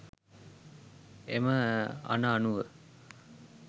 එම අණ අනුව